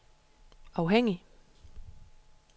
afhængig